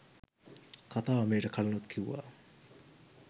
කතාව මීට කලිනුත් කිව්ව.